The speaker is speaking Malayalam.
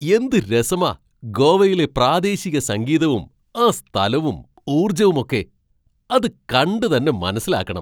എന്ത് രസമാ ഗോവയിലെ പ്രാദേശിക സംഗീതവും ആ സ്ഥലവും ഊർജ്ജവുമൊക്കെ, അത് കണ്ട് തന്നെ മനസ്സിലാക്കണം.